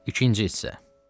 İkinci hissə.